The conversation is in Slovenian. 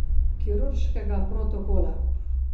Kirurškega protokola.